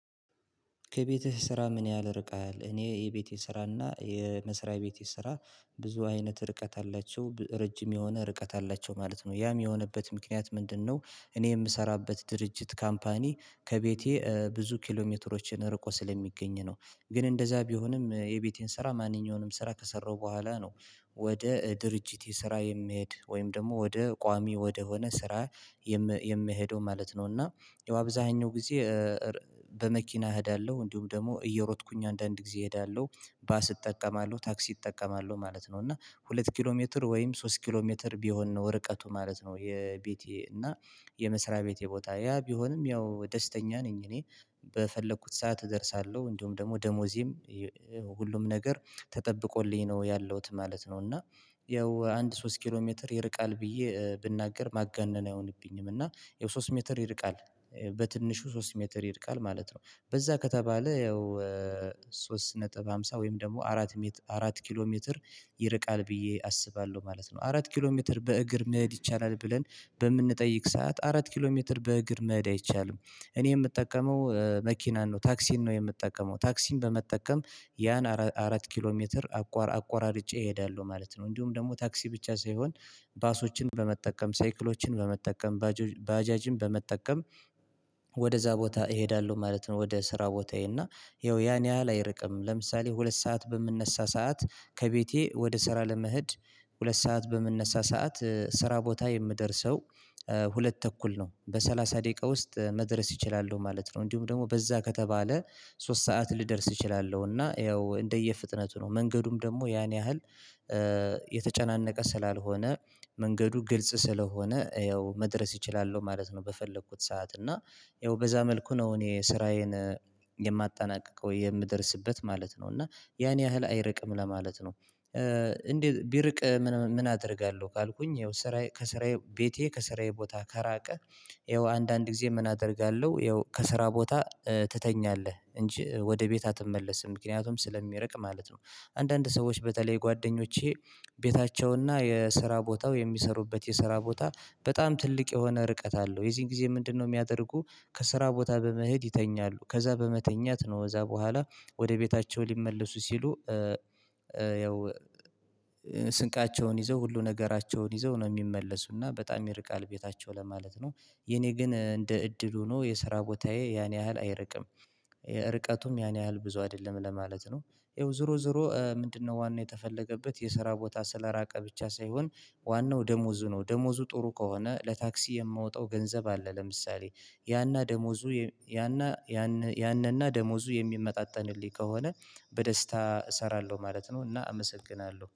ከቤትህ ስራ ምን ያህል ርቀሀል እኔ የቤቴ ስራና የመስሪያ ቤት ሰራ ብዙ አይነት ርቀት አላቸው ረጅም የሆነ ርቀት አላቸው ማለት ነው ያም የሆነበት ምክንያት ምንድነው? እኔ የምሰራበት ድርጅት ካምፓኒ ከቤቴ ብዙ ኪሎሜትሮችን ርቆ ስለሚገኝ ነው። ግን እንደዛ ቢሆንም የቤቴን ስራ ማንኛውንም ስራ ከሰራሁ በኋላ ነው ወደ ድርጅት ስራዬ የምሄድ ወይም ደግሞ ወደ ቋሚ ወደሆነ ስራ የምሄደው ማለት ነው። እና ያው አብዛኛው ጊዜ በመኪና እሄዳለሁ እንዲሁም ደግሞ እየሮጥኩኝ አንዳንድ ጊዜ እሄዳለሁ። ባስ እጠቀማለሁ ታክሲ እጠቀማለሁ ማለት ነው እና ሁለት ኪሎ ሜትር ወይም ሶስት ኪሎ ሜትር ቢሆን ነው ርቀቱ ማለት ነው። የቤቴ እና የመስሪያ ቤት ቦታ ያ ቢሆንም ያው ደስተኛ ነኝ እኔ በፈለኩት ሰዓት እደርሳለሁ እንዲሁም ደግሞ ደሞዜም ሁሉም ነገር ተጠብቆልኝ ነው ያለሁት ማለት ነው። እና ያው አንድ ሶስት ኪሎ ሜትር ይርቃል ብዬ ብናገር ማጋነን አይሆንብኝም። እና ያው ሶስት ሜትር ይርቃል በትንሹ ሶስት ሜትር ይርቃል ማለት ነው በዛ ከተባለ ያው ሶስት ነጥብ ሃምሳ ወይም ደግሞ አራት አራት ኪሎ ሜትር ይርቃል ብዬ አስባለሁ ማለት ነው። አራት ኪሎ ሜትር በእግር መሄድ ይቻላል ብለን በምንጠይቅ ሰዓት አራት ኪሎ ሜትር በእግር መሄድ አይቻልም። እኔ የምጠቀመው መኪናን ነው ታክሲን ነው የምጠቀመው ታክሲን በመጠቀም ያን አራት ኪሎ ሜትር አቆራርጬ እሄዳለሁ ማለት ነው። እንዲሁም ደግሞ ታክሲ ብቻ ሳይሆን ባሶችን በመጠቀም ሳይክሎችን በመጠቀም ባጃጅን በመጠቀም ወደዛ ቦታ እሄዳለሁ ማለት ነው። ወደ ስራ ቦታዬ እና ይኸው ያን ያህል አይርቅም ለምሳሌ ሁለት ሰዓት በምንነሳ ሰዓት ከቤቴ ወደ ስራ ለመሄድ ሁለት ሰዓት በምንነሳ ሰዓት ስራ ቦታ የምደርሰው ሁለት ተኩል ነው በሰላሳ ደቂቃ ውስጥ መድረስ እችላሉሁ ማለት ነው። እንዲሁም ደግሞ በዛ ከተባለ ሶስት ሰዓት ልደርስ እችላለሁና ያው እንደየ ፍጥነቱ ነው መንገዱም ደግሞ ያን ያህል የተጨናነቀ ስላልሆነ መንገዱ ግልጽ ስለሆነ ያው መድረስ እችላለሁ ማለት ነው። በፈለኩት ሰዓት እና ያው በዛ መልኩ ነው እኔ ስራዬን የማጣናቅቀው የምደርስበት ማለት ነው እና ያን ያህል አይርቅም ለማለት ነው። እንዴ ቢርቅ ምን አደርጋለሁ ካልኩኝ ያው ስራዬ ቤቴ ከስራዬ ቦታ ከራቀ ይኸው አንዳንድ ጊዜ ምን አደርጋለሁ ያው ከስራ ቦታ ትተኛለህ እንጂ ወደ ቤት አትመለስም ምክንያቱም ስለሚርቅ ማለት ነው። አንዳንድ ሰዎች በተለይ ጓደኞቼ ቤታቸውና የስራ ቦታው የሚሰሩበት የስራ ቦታ በጣም ትልቅ የሆነ ርቀት አለው የዚህን ጊዜ ምንድነው የሚያደርጉ? ከስራ ቦታ በመሄድ ይተኛሉ ከዛ በመተኛት ነው ከዛ በኋላ ወደ ቤታቸው ሊመለሱ ሲሉ ያው ስንቃቸውን ይዘው ሁሉ ነገራቸውን ይዘው ነው የሚመለሱና በጣም ይርቃል ቤታቸው ለማለት ነው። የኔ ግን እንደ እድል ሆኖ የስራ ቦታዬ ያን ያህል አይርቅም የርቀቱም ያን ያህል ብዙ አይደለም ለማለት ነው። ይኸው ዞሮ ዞሮ ምንድነው ዋናው የተፈለገበት የስራ ቦታ ስለራቀ ብቻ ሳይሆን ዋናው ደሞዙ ነው ደሞዙ ጥሩ ከሆነ ለታክሲ የማወጣው ገንዘብ አለ ለምሳሌ ያና ደሞዙ ያንንና ደሞዙ የሚመጣጠንልኝ ከሆነ በደስታ እሰራለሁ ማለት ነው። እና አመሰግናለሁ